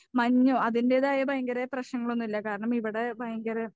മഞ്ഞോ അതിൻ്റെതായ ഭയങ്കര പ്രശ്നങ്ങളൊന്നും ഇല്ല കാരണം ഇവിടെ ഭയങ്കര